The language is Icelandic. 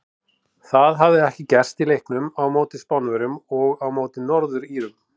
Það hafði ekki gerst í leiknum á móti Spánverjum og á móti Norður Írum.